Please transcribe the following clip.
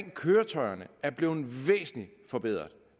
køretøjerne er blevet væsentligt forbedret